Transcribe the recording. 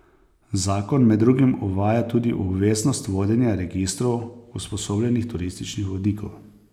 Zakon med drugim uvaja tudi obveznost vodenja registrov usposobljenih turističnih vodnikov.